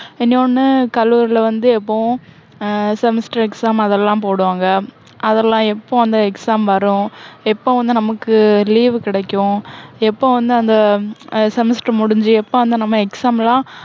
இன்னொண்ணு, கல்லூரில வந்து எப்போவும் ஆஹ் semester exam அதெல்லாம் போடுவாங்க. அதெல்லாம் எப்போ அந்த exam வரும்? எப்போ வந்து நமக்கு அஹ் leave கிடைக்கும்? எப்போ வந்து அந்த அஹ் semester முடிஞ்சு, எப்போ வந்து நம்ம exam லாம்